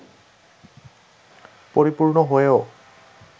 পরিপূর্ণ হয়েও